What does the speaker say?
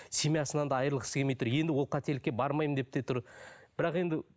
семьясынан да айырылғысы келмей тұр енді ол қателікке бармаймын деп те тұр бірақ енді